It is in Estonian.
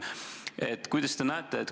Kuidas te asjade kulgu näete?